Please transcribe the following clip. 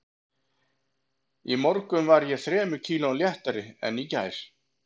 Í morgun var ég þremur kílóum léttari en í gær